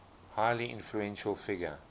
highly influential figure